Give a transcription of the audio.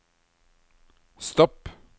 stopp